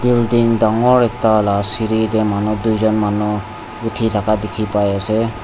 building dangor ekta la seri tae manu duijon uthithaka dikhiase.